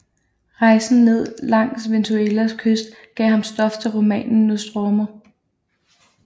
Rejsen ned langs Venezuelas kyst gav ham stof til romanen Nostromo